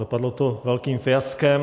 Dopadlo to velkým fiaskem.